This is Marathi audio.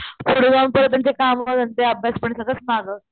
पुढं जाऊन परत त्यांच काम धंदे अभ्यास पण सगळंच माग,